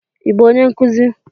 Ị bụ onye nkuzi?